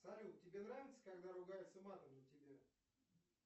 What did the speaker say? салют тебе нравится когда ругаются матом на тебя